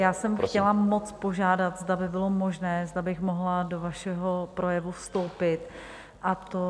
Já jsem chtěla moc požádat, zda by bylo možné, zda bych mohla do vašeho projevu vstoupit, a to...